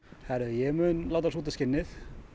heyrðu ég mun láta súta skinnið